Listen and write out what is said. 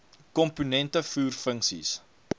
komponente voer funksies